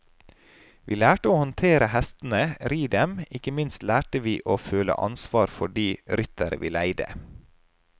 Vi lærte å håndtere hestene, ri dem, og ikke minst lærte vi å føle ansvar for de ryttere vi leide.